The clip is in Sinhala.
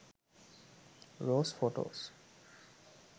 rose photos